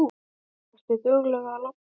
Ertu dugleg að labba?